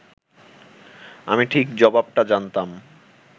আমি ঠিক জবাবটা জানতাম